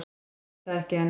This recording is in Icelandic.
Veit það ekki enn.